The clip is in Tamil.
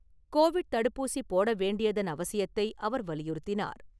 கோவிட் தடுப்பூசி போட வேண்டியதன் அவசியத்தை அவர் வலியுறுத்தினார்.